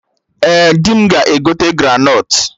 Ee, dị m ga-egote granọt